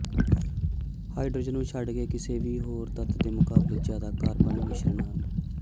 hydrogen ਨੂੰ ਛੱਡ ਕੇ ਕਿਸੇ ਵੀ ਹੋਰ ਤੱਤ ਦੇ ਮੁਕਾਬਲੇ ਜ਼ਿਆਦਾ ਕਾਰਬਨ ਮਿਸ਼ਰਣ ਹਨ